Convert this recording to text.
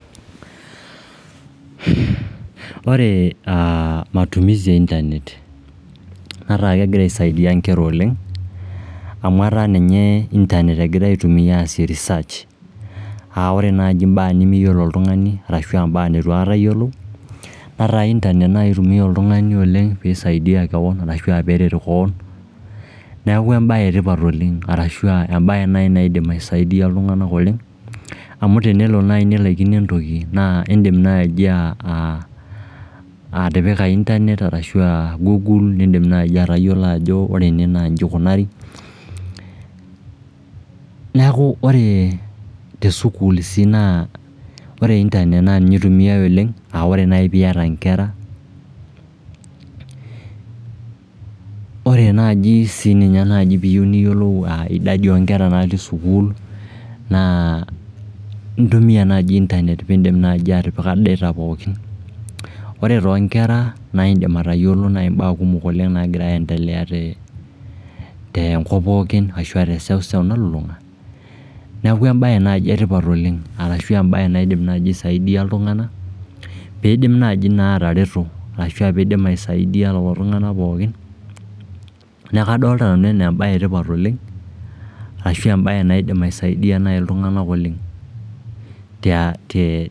ore aah matumizi e internet netaa kegira aisaidia nkera oleng, amu etaa ninye internet egirae aitumia aasie reserch a ore naaji imbaa nimiyiolo oltung'ani arashua mbaa neitu aikata iyiolou, netaa internet naai eitumia oltung'ani oleng peisaidia kewon arashua peeret kewon, neeku embae e tioat oleng arashua embae naai naidim aisaidia iltung'anak oleng, amu tenelo naaji nilaikino entoki, naa indim naaji aah aah atipika internet arashua google nindim naaji atayiolo ajo ore ene naa nji eikunari, neeku ore te sukuul sii naa ore internet naa ninye eitumiae oleng, aa ore naaji piiyata nkera, ore naaji sii ninye naaji piiyieu niyiolou idadi o nkera natii sukuul, naa intumia internet piindim naaji atipika data pookin, ore too nkera naa indim atayiolo naai imbaa kumok oleng nagira aiendelea te tenkop pookin ashua te seuseu nalulung'a, neeku embae naaji etipat oleng arashu embae naidim naaji aisaidia iltung'anak peidim naaji naa atareto arashua peidim aisaidia lelo tung'anak pookin neeku kadolta nanu enaa embae etipat oleng ashua embae naidim aisaidia naai iltung'anak oleng tia te....